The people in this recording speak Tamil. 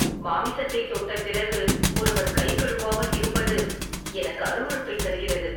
மாமிசத்தைத் தொட்ட பிறகு ஒருவர் கை கழுவாமல் இருப்பது எனக்கு அருவருப்பைத் தருகிறது.